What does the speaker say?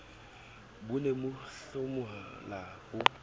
bo ne bo hlomola ho